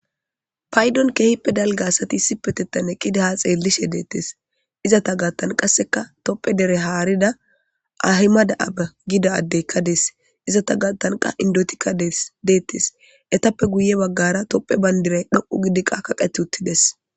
Payiddoni kehipe daligga assati eqidi haa xelishe betesi. Izata gathani qaasi tophe dere haridda Ahimade Abe addeyika dayesi.ettape guye baggara toophe bandirayi kaqeti utidesi.